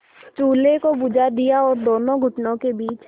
चूल्हे को बुझा दिया और दोनों घुटनों के बीच